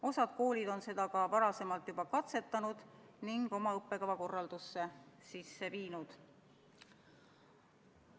Osa koole on seda varasemalt juba katsetanud ning oma õppekava korraldusse sisse viinud.